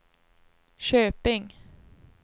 Köping